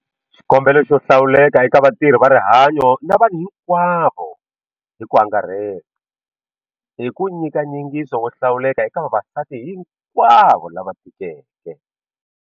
Xikombelo xo hlawuleka eka vatirhi va rihanyo na vanhu hinkwavo hi ku angarhela i ku nyika nyingiso wo hlawuleka eka vavasati hinkwavo lava tikeke.